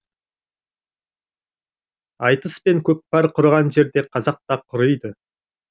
айтыс пен көкпар құрыған жерде қазақ та құриды